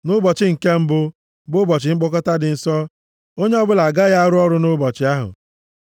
Nʼụbọchị nke mbụ bụ ụbọchị mkpọkọta dị nsọ. Onye ọbụla agaghị arụ ọrụ nʼụbọchị ahụ.